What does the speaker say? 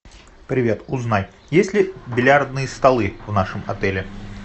привет узнай есть ли бильярдные столы в нашем отеле